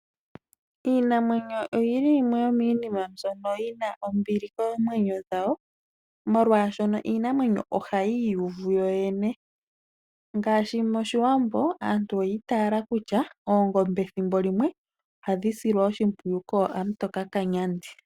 Iinamwenyo oyili yimwe yo miinima mbono yina ombili koomwenyo dhawo, molwashoka iinamwenyo ohayi iyuvu yoyene. Ngaashi moshiwambo aantu oyi itala kutya oongombe thimbo limwe ohadhi shilwa oshipwiyu kokamutoka kanyandi .